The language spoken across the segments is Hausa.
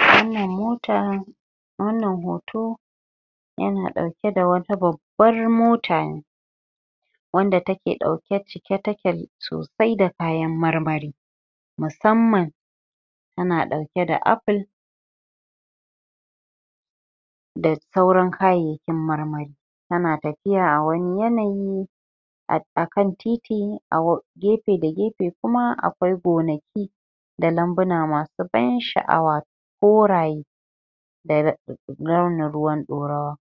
wannan motan wannan hoto ya na ɗauke da wani abban mota ne wanda take ɗauke cike take sosai da kayan marmari musamman yana ɗauke da aful da sauran kayyakin marmari ya na tafiya a wani yanayi akan titi a gefe da gefe kuma akwai gonaki da lambuna masu ban sha'awa koraye da launin ruwan ɗorawa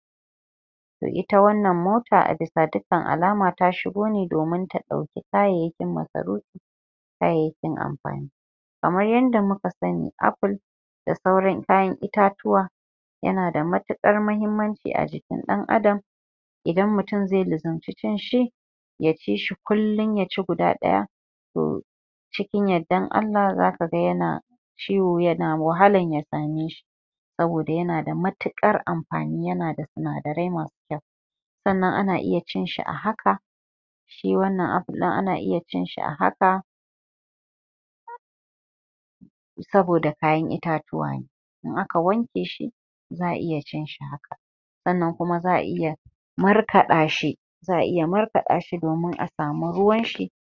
ita wannan mota a bisa dukkan alama ta shigo ne domin ta ɗauki kayayyakin masarufi kayayyakin amfani kamar yadda muka san aful da sauran kayan itatuwa yana da matuƙuwar mahimmanci a jikin ɗan adam idan mutum zai lazimci cin shi ya ci kullum ya ci guda ɗaya to cikin yardan Allah zaka yana ciwo yana wahalan ya same shi saboda ya na da matuƙar amfani ya na da sinadarai masu kyau sannan a na cin shi a haka shi wannan aful ɗin ana cin shi a haka saboda kayan itatuwa ne, in aka wanke za'a iya cin shi haka, sannan kuma za'a iya markaɗa shi, za'a iya markaɗa shi domin a samu ruwan shi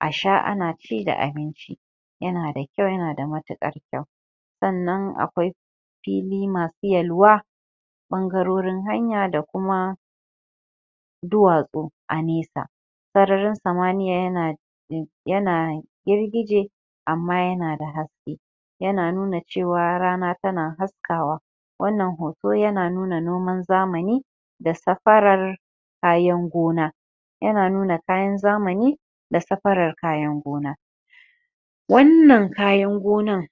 a sha ana ci da abinci yana da kyau yana da matuƙar kyau sannan akwai fili masu yalwa ɓangarorin hanya da kuma duwatsu a nesa sararin samaniya yana da girgije amma yana da haske yana nuna cewa rana tana hasakawa, wannan hoto yana nuna noman zamani da safarar kayan gona, yana nuna kayan zamani da safarar kayan gona wannan kayan gonan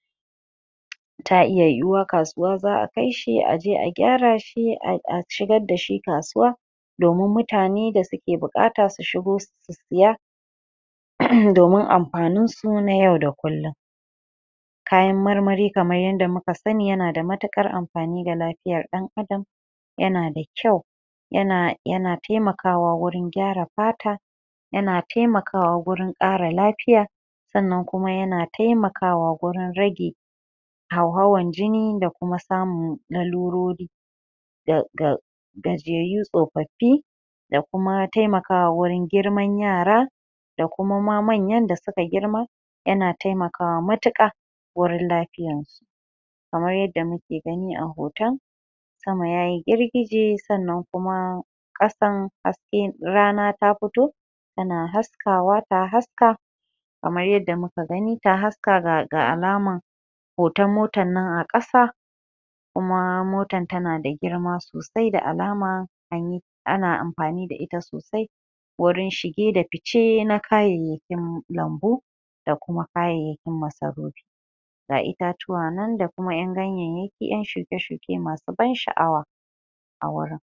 ta iya yiwuwa kasuwa za'a kai shi a je a gyara shi a shigar da shi kasuwa domin mutane da suke buƙata su shigo su siya da ma amfanin su na yau da kullum kayan marmari kamar yanda muka sani yana da matuƙar amfani ga lafiyar ɗan adam ya na a kyau yana taimakawa wurin gyyara fata ya na taimakawa wurin ƙara lafiya sannan kuma yana taimakawa wurin rage hauhawan jini da kuma samun larurori ga gajiyayyu tsofaffi da kuma taimakawa wurin girman yara da kuma ma manyan da suka girma ya na taimakawa matuƙa wurin lafiyarsu kamar yadda muke gani a hoton sama ya yi girgije sannan kuma ƙasan hasken rana ta fito ta na haskawa ta haska kamar yadda muka gai ta haska ga alaman hoton motan nan a ƙasa kuma motan ta na da girma sosai ga alama an yi ana amfani da ita sosai wurin shige fice na kayayyakin lambu da kuma kayayyakin masarufi ga itatuwa nan da kuma ƴan ganyanyaki ƴan shuke-shuke masu ban sha'awa a wurin